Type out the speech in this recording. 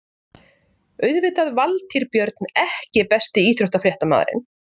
Auðvitað Valtýr Björn EKKI besti íþróttafréttamaðurinn?